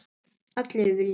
Allir vilja sitt